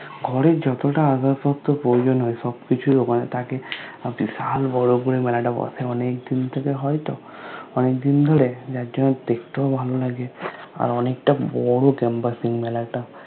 ঘরের যতটা আদর্শত্ব প্রয়োজন হয় সব কিছু ওখানে থাকে আর বিশাল বরো করে মেলাটা বসে মানে এই দিন এ হয় তো অনেক দিন ধোরে যার জন্নে দেখতে ও ভালো লাগে আর অনেক তা বোরো Campusing মেলা তা